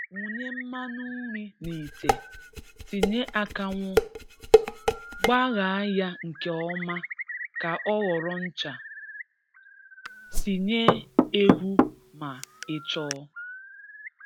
Wunye mmanụ nri n'ite. Tinye akanwụ. Kpaghaa ya nke ọma ka ọ ghọrọ ncha. Tinye ehu ma ị chọọ